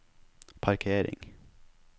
parkering